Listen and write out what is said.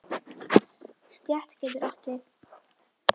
Stétt getur átt við